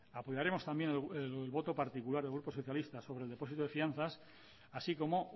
apoyaremos también el voto particular del grupo socialista sobre el depósito de fianzas así como